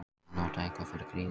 Að nota eitthvað fyrir grýlu